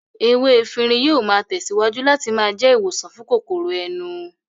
Ewé efinrin yóò máa tẹ̀síwájú láti máa jẹ́ ìwòsàn fún kòkòrò ẹnu